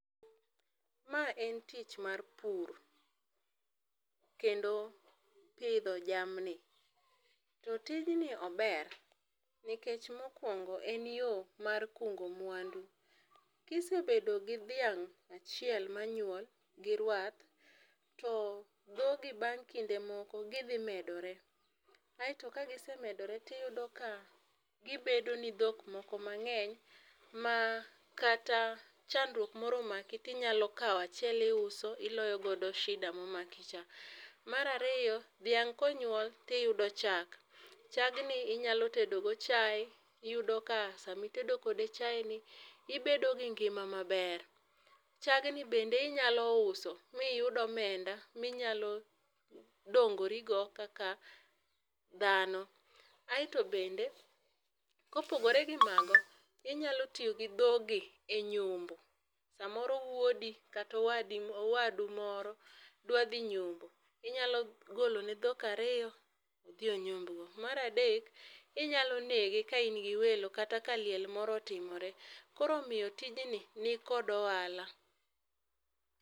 Ma en tich mar pur, kendo pidho jamni. To tij ni ober nikech mokuongo en yo mar kungo mwandu. kisebedo gi dhiang achiel ma nyuol gi rwath, to dhogi bang' kinde moko gi dhi medore aito ka gisemedore to iyudo ka gi medo ni dhok moko ma ng'eny ma kata chandruok moro omaki to inyalo kawo achiel iuso iloyo godo shida ma omaki cha. Mar ariyo, dhiang ka onyuol to iyudo chak, chagni inyalo tedo go chaye, iyud ka saa ma itedo kode chai oni ibedo gi ngima ma ber. chag ni bende inyalo uso mi iyud omenda mi nyalo dongori go kaka dhano. Aito bende ka opogore gi mago inyalo tiyo gi dhogi e nyombo. Sa moro wuodi kata owadu moro dwa dhi yombo, inyalo golo ne dhok ariyo odhi onyomb go. Mar adek inyalo nege ka in gi welo kata liel moro otimore. Koro omiyo tijni, ni kod ohala